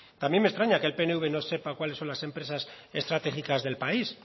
también me extraña que el pnv no sepa cuáles son las empresas estratégicas del país